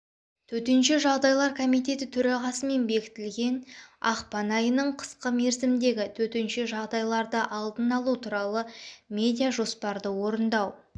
төтенше жағдайлар комитеті төрағасымен бекітілген ақпан айының қысқы мерзімдегі төтенше жағдайларды алдын алу тұралы медиа-жоспарды орындау